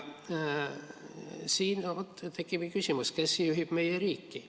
Selle peale tekibki küsimus, kes juhib meie riiki.